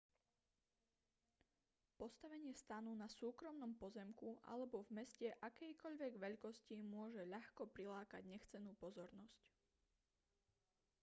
postavenie stanu na súkromnom pozemku alebo v meste akejkoľvek veľkosti môže ľahko prilákať nechcenú pozornosť